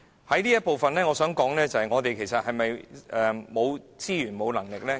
就這部分，我想說的是，政府是否沒有資源和能力呢？